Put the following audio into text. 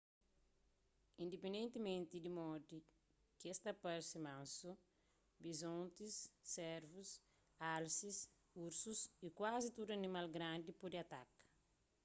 indipendentimenti di modi ki es ta parse mansu bizontis servus alsis ursus y kuazi tudu animal grandi pode ataka